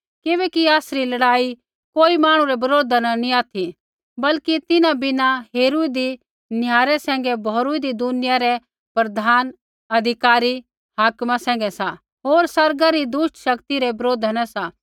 किबैकि आसरी लड़ाई कोई मांहणु रै बरोधा न नैंई ऑथि बल्कि तिन्हां बिना हेरूईदी निहारै सैंघै भौरूऊँदी दुनिया रै प्रधाना अधिकारी हाकमा सैंघै सा होर आसमाना री दुष्ट शक्ति रै बरोधा न सा